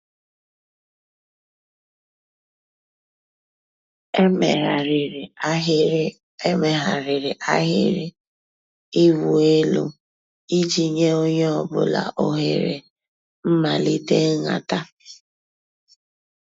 Èméghàrị́rị́ àhị́rị́ Èméghàrị́rị́ àhị́rị́ ị̀wụ́ èlú ìjì nyé ónyé ọ̀ bụ́là òhèré m̀màlíté ǹhàtá.